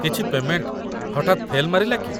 କିଛି ପେମେଣ୍ଟ ହଠାତ୍ ଫେଲ୍‌ ମାରିଲା କି ?